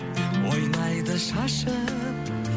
ойнайды шашып